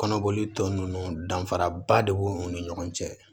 Kɔnɔboli tɔ ninnu danfaraba de b'u ni ɲɔgɔn cɛ